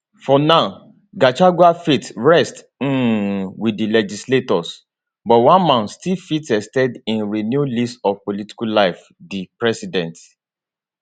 for now gachagua fate rest um wit di legislators but one man still fit ex ten d im renewed lease of political life di president